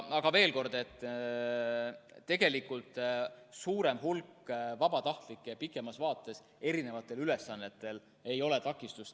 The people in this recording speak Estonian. Aga veel kord: tegelikult suurem hulk vabatahtlikke pikemas vaates erinevate ülesannete täitmisel ei ole takistus.